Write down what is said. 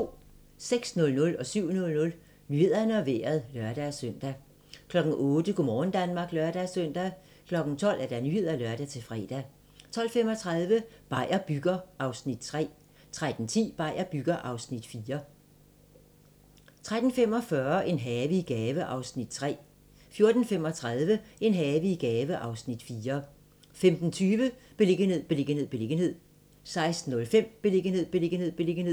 06:00: Nyhederne og Vejret (lør-søn) 07:00: Nyhederne og Vejret (lør-søn) 08:00: Go' morgen Danmark (lør-søn) 12:00: Nyhederne (lør-fre) 12:35: Beier bygger (3:4) 13:10: Beier bygger (4:4) 13:45: En have i gave (Afs. 3) 14:35: En have i gave (Afs. 4) 15:20: Beliggenhed, beliggenhed, beliggenhed 16:05: Beliggenhed, beliggenhed, beliggenhed